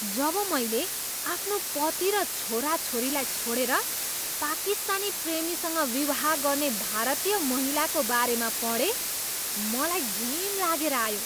जब मैले आफ्नो पति र छोराछोरीलाई छोडेर पाकिस्तानी प्रेमीसँग विवाह गर्ने भारतीय महिलाको बारेमा पढेँ मलाई घिन लागेर आयो।